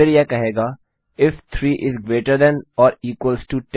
और फिर यह कहेगा क्या 3 10 से बड़ा या बराबर है